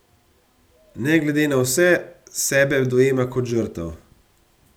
Ne glede na vse sebe dojema kot žrtev.